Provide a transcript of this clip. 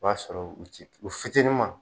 O b'a sɔrɔ u t i fitinin ma.